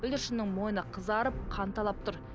бүлдіршіннің мойны қызарып қанталап тұр